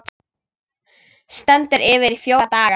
Stendur yfir í fjóra daga.